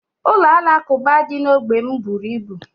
Ụlọ alakuba dị na ógbè m bụrụ ibu